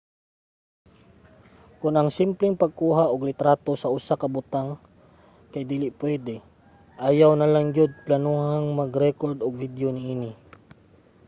kon ang simpleng pagkuha og litrato sa usa ka butang kay dili pwede ayaw nalang gyud planohang mag-rekord og video niini